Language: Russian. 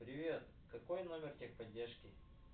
привет какой номер техподдержки